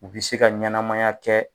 U bɛ se ka ɲɛnamaya kɛ